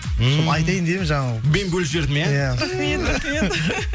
ммм соны айтайын деп едім жаңа мен бөліп жібердім иә рахмет рахмет